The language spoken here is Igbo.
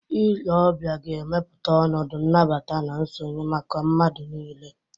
Ile ọbịa ga-emepụta ọnọdụ nnabata na nsonye maka mmadụ niile.